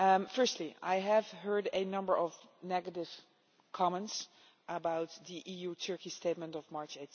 Firstly, I heard a number of negative comments about the EU Turkey statement of March